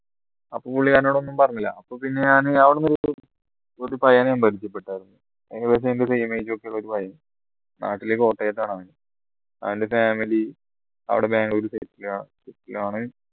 ആ പുള്ളി എന്നോട് ഒന്നും പറഞ്ഞില്ല അപ്പോ പിന്നെ ഞാൻ അവിടുന്ന് ഒരു ഒരു പയ്യനെയും പരിചയപ്പെട്ട ആയിരുന്നു നാട്ടിലെ കോട്ടയത്താണ് അവൻ അവന്റെ family അവിടെ ബാംഗ്ലൂർ settled ണ് ആണ്